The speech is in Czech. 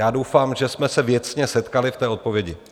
Já doufám, že jsme se věcně setkali v té odpovědi.